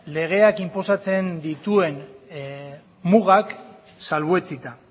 legeak inposatzen dituen mugak salbuetsita